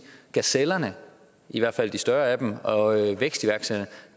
gazellerne i hvert fald de større af dem og vækstiværksætterne